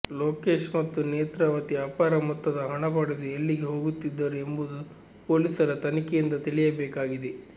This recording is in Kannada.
ಲೋಕೇಶ್ ಮತ್ತು ನೇತ್ರಾವತಿ ಅಪಾರ ಮೊತ್ತದ ಹಣ ಪಡೆದು ಎಲ್ಲಿಗೆ ಹೋಗುತ್ತಿದ್ದರು ಎಂಬುದು ಪೊಲೀಸರ ತನಿಖೆಯಿಂದ ತಿಳಿಯಬೇಕಾಗಿದೆ